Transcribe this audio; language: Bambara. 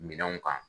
Minɛnw kan